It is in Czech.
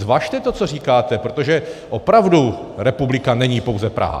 Zvažte to, co říkáte, protože opravdu republika není pouze Praha.